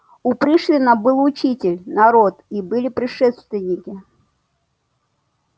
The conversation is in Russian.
у пришвина был учитель народ и были предшественники